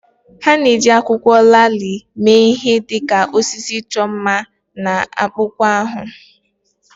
Ha na-eji akwụkwọ laalị mee ihe dị ka osisi ịchọ mma na akpụkpọ ahụ